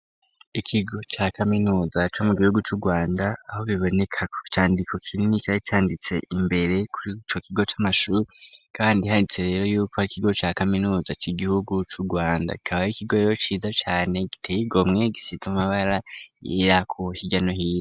Ikigo ca kaminuza co mu gihugu c'Urwanda aho biboneko icandiko kinini cari canditse imbere kuri ico kigo c'amashuri kandi handitse rero yuko ari ikigo ca kaminuza c'igihugu c'Urwanda kikaba ari ikigo rero ciza cane giteye igomwe, gisize amabara yera hirya no hino.